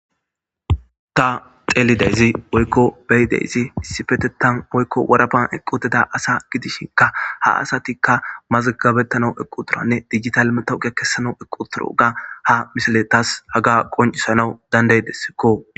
ta xeelidayzi oykko beyideyzi sifetetan oykko warapan eqqudeda asa gidishinka ha asatikka mazgabettana equ turanne digitalmetowuge kessanau equtoro ga ha misiletas haga qoncisanau dandaydessikko